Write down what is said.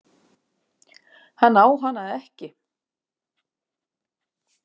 Hann á hana ekki.